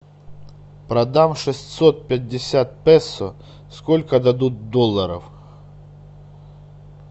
продам шестьсот пятьдесят песо сколько дадут долларов